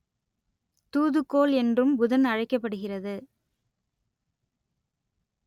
தூதுக்கோள் என்றும் புதன் அழைக்கப்படுகிறது